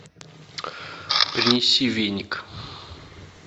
принеси веник